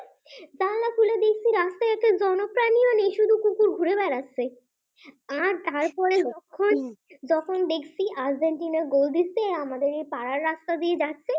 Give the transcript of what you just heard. আর তারপরে লক্ষণ যখন দেখছি আর্জেন্টিনা গোল দিচ্ছে আমাদের পাড়ার রাস্তা দিয়ে যাচ্ছে